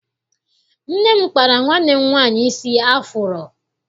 Nne m kpara nwanne m nwaanyị isi afuro.